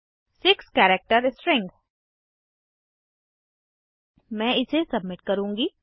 6 character string मैं इसे submit करूँगी